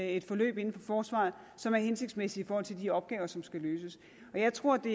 et forløb inden for forsvaret som er hensigtsmæssigt i forhold til de opgaver som skal løses jeg tror det